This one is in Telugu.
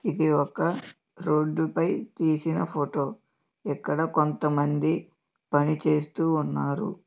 ఇది ఒక రోడ్ పై తీసిన ఫోటో. ఇక్కడ కొంత మంది పని చేస్తూ ఉన్నారు.